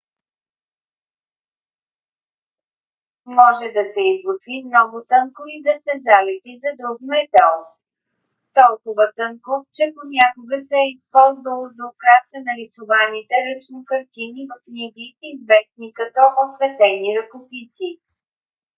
може да се изготви много тънко и да се залепи за друг метал. толкова тънко че понякога се е използвало за украса на рисуваните ръчно картини в книги известни като осветени ръкописи